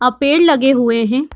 अ पेड़ लगे हुए हैं।